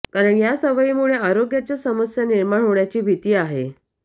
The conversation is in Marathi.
कारण या सवयीमुळे आरोग्याच्या समस्या निर्माण होण्याची भीती आहे